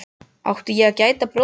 Átti ég að gæta bróður míns?